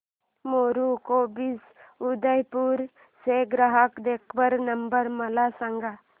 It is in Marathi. मेरू कॅब्स उदयपुर चा ग्राहक देखभाल नंबर मला सांगा